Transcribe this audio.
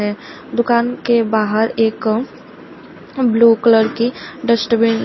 दुकान के बाहर एक ब्लू कलर की डस्टबिन --